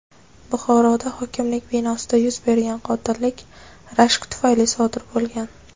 Buxoroda hokimlik binosida yuz bergan qotillik rashk tufayli sodir bo‘lgan.